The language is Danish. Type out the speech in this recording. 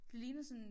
Det ligner sådan